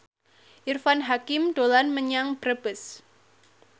Irfan Hakim dolan menyang Brebes